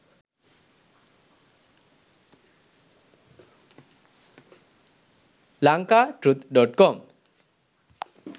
lanka truth.com